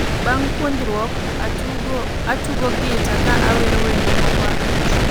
Bang' puonjrok , atugo gita ka awero wende moko abich